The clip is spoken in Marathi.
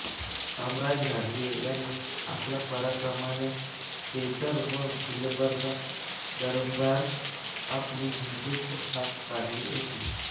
कामराज घाटगे यांनी आपल्या पराक्रमाने बेदर व गुलबर्गा दरबारात आपलीं हिंदूंची छाप पाडली होती